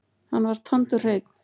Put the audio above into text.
Hann var tandurhreinn.